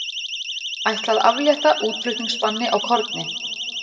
Ætla að aflétta útflutningsbanni á korni